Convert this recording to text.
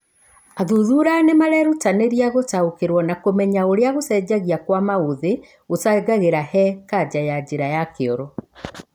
Athuthura nĩmarerutanĩria gũtaũkĩrwo na kũmenya ũrĩa gũcenjia kwa maũthĩ gũcangagĩra he kanja ya njĩra ya kĩoro